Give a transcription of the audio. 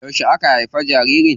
Yauce aka haifi jaririn?